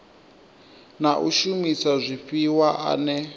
na u shumisa zwifhiwa ane